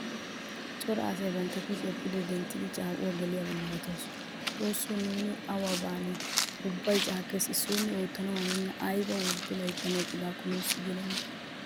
Cora asay bantta kushiyaa pude denttidi caaqquwaa geliyaba malatoosona. Xoosso nuuni awu baane? Ubbay caaqqees. Issoyne oottanawu hanena ayba worddo layttan eqqidakone nuusi gelena.